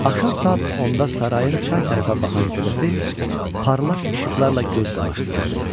Axşam saat 10-da sarayın çay tərəfə baxan hissəsi parlaq işıqlarla göz qamaşdırırdı.